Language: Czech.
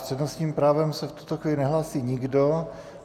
S přednostním právem se v tuto chvíli nehlásí nikdo.